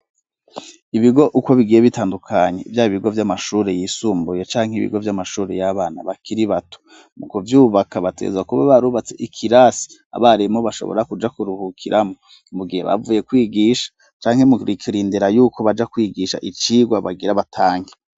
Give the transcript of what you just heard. Ibigo uko bigiye bitandukanye nivya bigo vy'amashuri yisumbuye canke ibigo vy'amashuri y'abana bakiri bato. Mu kuvyubaka bategerezwa kuba barubatse ikirasi abarimu bashobora kuja kuruhukiramwo mu gihe bavuye kwigisha canke mu kurindera yuko baja kwigisha icigwa bagira batange.